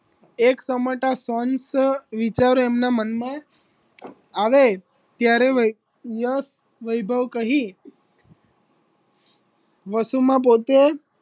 એક સમાટા શાંત વિચારો એમના મન માં આવે ત્યારે વય યશ વૈભવ કહી વસુમાં પોતેજ